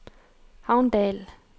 Havndal